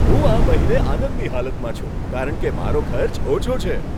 હું આ મહિને આનંદની હાલતમાં છું કારણ કે મારો ખર્ચ ઓછો છે.